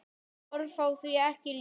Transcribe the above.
Orð fá því ekki lýst.